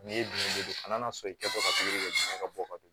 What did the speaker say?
Nin ye don a nana sɔn i kɛtɔ ka ka bɔ ka don